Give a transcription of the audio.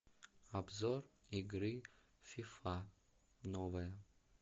обзор игры фифа новая